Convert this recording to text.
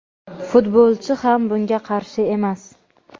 Futbolchi ham bunga qarshi emas;.